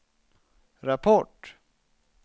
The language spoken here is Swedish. rapport